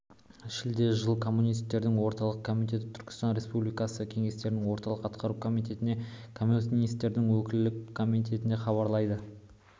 шілде жыл коммунистердің орталық комитеті түркістан республикасы кеңестердің орталық атқару комитетіне коммунистердің өлкелік комитетіне хабарлайды